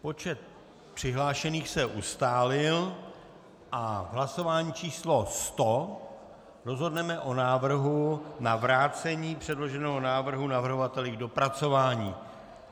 Počet přihlášených se ustálil a v hlasování číslo 100 rozhodneme o návrhu na vrácení předloženého návrhu navrhovateli k dopracování.